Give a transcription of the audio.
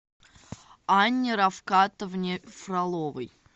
анне рафкатовне фроловой